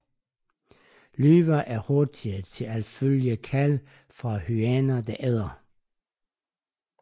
Løver er hurtige til at følge kald fra hyæner der æder